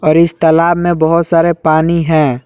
इस तालाब में बहोत सारे पानी है।